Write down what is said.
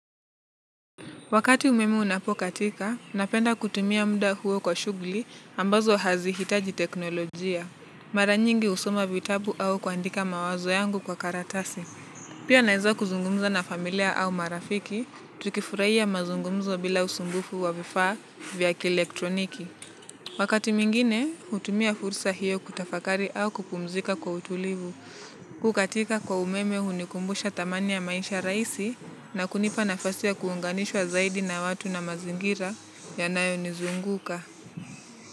Wakati umeme unapokatika, napenda kutumia mda huo kwa shughuli ambazo hazihitaji teknolojia. Mara nyingi husoma vitabu au kuandika mawazo yangu kwa karatasi. Pia naweza kuzungumza na familia au marafiki, tukifurahia mazungumzo bila usumbufu wa vifaa vya kielektroniki. Wakati mwingine hutumia fursa hiyo kutafakari au kupumzika kwa utulivu. Kukatika kwa umeme hunikumbusha thamani ya maisha rahisi na kunipa nafasi ya kuunganishwa zaidi na watu na mazingira yanayonizunguka.